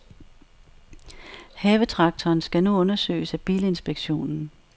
Havetraktoren skal nu undersøges af bilinspektionen.